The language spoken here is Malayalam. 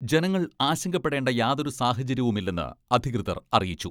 ജനങ്ങൾ ആശങ്കപ്പെടേണ്ട യാതൊരു സാഹചര്യവുമില്ലെന്ന് അധികൃതർ അറിയിച്ചു.